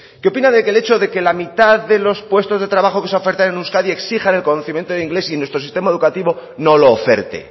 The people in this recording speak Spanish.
qué opina de que el hecho de que la mitad de los puestos de trabajo que se ofertan en euskadi exijan el conocimiento de inglés y nuestro sistema educativo no lo oferte